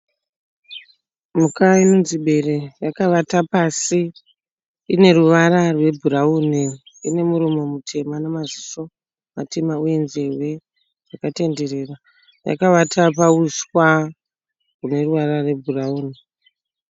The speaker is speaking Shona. Mhuka inonzi bere yakavata pasi. Ine ruvara rwebhurauni ine muromo mutema namaziso matema uye nzeve dzakatenderera. Yakavata pauswa hune ruvara rwebhurauni.